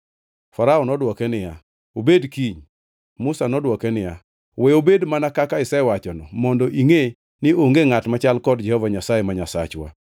Farao nodwoke niya, “Obed kiny.” Musa nodwoke niya, “We obed mana kaka isewachono mondo ingʼe ni onge ngʼat machal kod Jehova Nyasaye ma Nyasachwa.